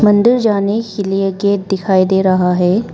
अंदर जाने के लिए गेट दिखाई दे रहा है।